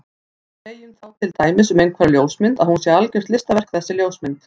Við segjum þá til dæmis um einhverja ljósmynd að hún sé algjört listaverk þessi ljósmynd.